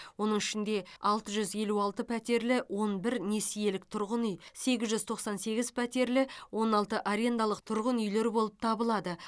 оның ішінде алты жүз елу алты пәтерлі он бір несиелік тұрғын үй сегіз жүз тоқсан сегіз пәтерлі он алты арендалық тұрғын үйлер болып табылады